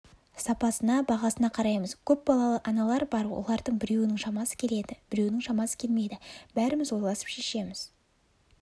сапасына бағасына қараймыз көпбалалы аналар бар олардың біреуінің шамасы келеді біреуінің шамасы келмейді бәріміз ойласып шешеміз